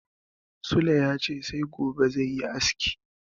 Sule ya ce sai gobe zai yi aski.